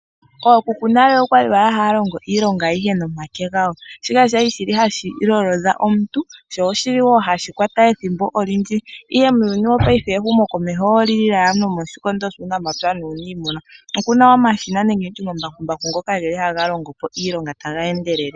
Ookuku nale okwali wala haya longo iilonga ayihe nomake gawo shika kwali shili hashilolodha omuntu sho oshili wo hashi kwata ethimbo olindji, ihe muuyuni wopaife ehumo komeho olili lela nomoshikondo shuunamapya nuuniimuna. Okuna omashina nenge nditye omambakumbaku ngoka geli hagalongo po iilonga taga endelele.